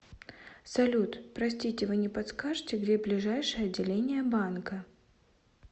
салют простите вы не подскажете где ближайшее отделение банка